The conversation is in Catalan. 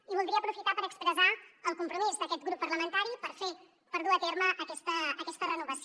i voldria aprofitar per expressar el compromís d’aquest grup parlamentari per fer per dur a terme aquesta renovació